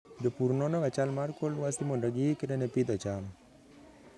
Jopur nonoga chal mar kor lwasi mondo giikre ne pidho cham.